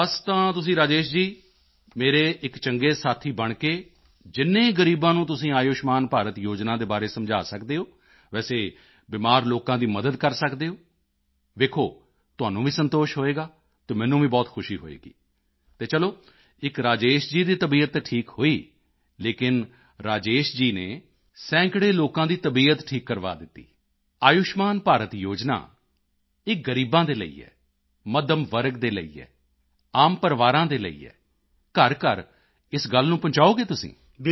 ਬਸ ਤਾਂ ਤੁਸੀਂ ਰਾਜੇਸ਼ ਜੀ ਮੇਰੇ ਇੱਕ ਚੰਗੇ ਸਾਥੀ ਬਣ ਕੇ ਜਿੰਨੇ ਗ਼ਰੀਬਾਂ ਨੂੰ ਤੁਸੀਂ ਆਯੁਸ਼ਮਾਨ ਭਾਰਤ ਯੋਜਨਾ ਦੇ ਬਾਰੇ ਸਮਝਾ ਸਕਦੇ ਹੋ ਵੈਸੇ ਬਿਮਾਰ ਲੋਕਾਂ ਦੀ ਮਦਦ ਕਰ ਸਕਦੇ ਹੋ ਦੋਖੋ ਤੁਹਾਨੂੰ ਵੀ ਸੰਤੋਸ਼ ਹੋਵੇਗਾ ਅਤੇ ਮੈਨੂੰ ਵੀ ਬਹੁਤ ਖੁਸ਼ੀ ਹੋਵੇਗੀ ਤਾਂ ਚਲੋ ਇੱਕ ਰਾਜੇਸ਼ ਜੀ ਦੀ ਤਬੀਅਤ ਤਾਂ ਠੀਕ ਹੋਈ ਲੇਕਿਨ ਰਾਜੇਸ਼ ਜੀ ਨੇ ਸੈਂਕੜੇ ਲੋਕਾਂ ਦੀ ਤਬੀਅਤ ਠੀਕ ਕਰਵਾ ਦਿੱਤੀ ਇੱਕ ਆਯੁਸ਼ਮਾਨ ਭਾਰਤ ਯੋਜਨਾ ਇਹ ਗ਼ਰੀਬਾਂ ਦੇ ਲਈ ਹੈ ਮੱਧਮ ਵਰਗ ਦੇ ਲਈ ਹੈ ਆਮ ਪਰਿਵਾਰਾਂ ਦੇ ਲਈ ਹੈ ਤਾਂ ਘਰਘਰ ਇਸ ਗੱਲ ਨੂੰ ਪਹੁੰਚਾਓਗੇ ਤੁਸੀਂ